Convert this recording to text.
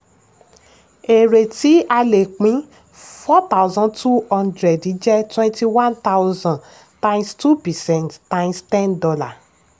èrè tí a lè pín: four thousand two hundred jẹ́ twenty one thousand times two percent times ten